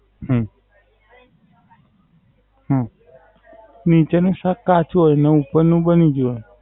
હમ હમ નીચે નું શાક કાચું હોય ને ઉપર નું બની ગયું હોય?